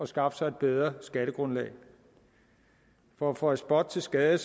skaffe sig et bedre skattegrundlag for at føje spot til skade